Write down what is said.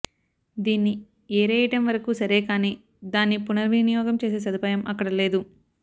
దీన్ని ఏరేయడం వరకూ సరేకానీ దాన్ని పునర్విని యోగం చేసే సదుపాయం అక్కడ లేదు